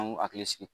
An ŋ'u hakili sigi